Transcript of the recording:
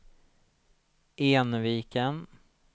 Enviken